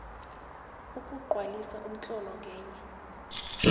ukugcwalisa umtlolo ngenye